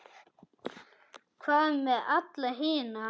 Hvað með alla hina?